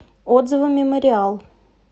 отзывы мемориал